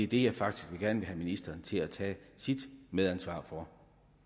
det jeg faktisk gerne vil have ministeren til at tage sit medansvar for